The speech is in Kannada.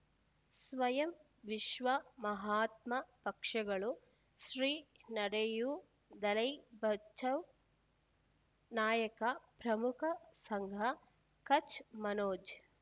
ಸ್ವಯಂ ವಿಶ್ವ ಮಹಾತ್ಮ ಪಕ್ಷಗಳು ಶ್ರೀ ನಡೆಯೂ ದಲೈ ಬಚೌ ನಾಯಕ ಪ್ರಮುಖ ಸಂಘ ಕಚ್ ಮನೋಜ್